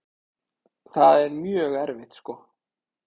Það er mjög erfitt sko.